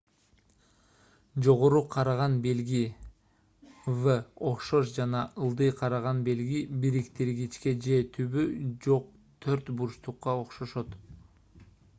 жогору караган белги v окшош жана ылдый караган белги бириктиргичке же түбү жок төрт бурчтукка окшошот